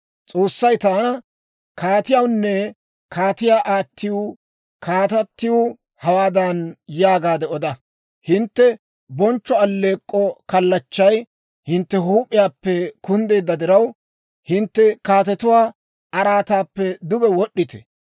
S'oossay taana, «Kaatiyawunne kaatiyaa aattiw, kaatatiw hawaadan yaagaade oda; ‹Hintte bonchcho alleek'k'o kallachchay hintte huup'iyaappe kunddeedda diraw, hintte kaatetuwaa araataappe duge wod'd'ite.